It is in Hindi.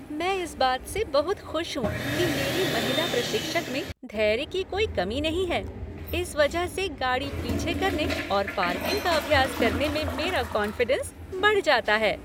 मैं इस बात से बहुत खुश हूँ कि मेरी महिला प्रशिक्षक में धैर्य की कोई कमी नहीं है, इस वजह से गाड़ी पीछे करने और पार्किंग का अभ्यास करने में मेरा कॉन्फ़िडेंस बढ़ जाता है।